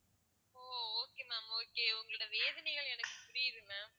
ஓ okay ma'am okay okay உங்களோட வேதனைகள் எனக்கு புரியுது ma'am